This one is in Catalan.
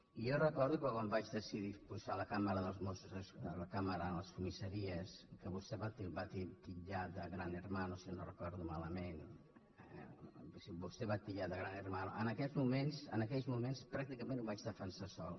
i jo recordo que quan vaig decidir posar la càmera dels mossos posar la càmera en les comissaries que vostè va titllar de gran hermano si no ho recordo malament que vostè ho va titllar de gran hermano en aquells mo·ments pràcticament ho vaig defensar sol